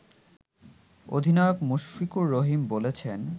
অধিনায়ক মুশফিকুর রহিম বলেছেন